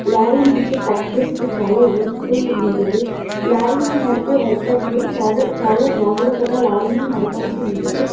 Lorry నుంచి factories కి చాలా ఉస్ ఫుల్ ఉంటుంది. లారీ ని నడిపే వర్కర్ లు చాలా చాలా జాగ్రత్తగా లారీ ని నడపాల్సి ఉంటుంది.